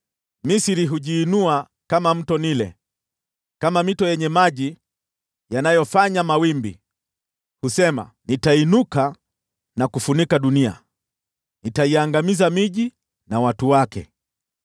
Misri hujiinua kama Mto Naili, kama mito yenye maji yanayofanya mawimbi. Husema, ‘Nitainuka na kufunika dunia, nitaiangamiza miji na watu wake.’